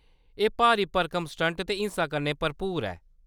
एह्‌‌ भारी भरकम स्टंट ते हिंसा कन्नै भरपूर दी ऐ।